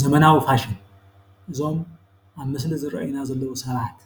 ዘመናዊ ፋሽን እዞም ኣብ ምስሊ ዝረኣዩና ዘለው ሰባት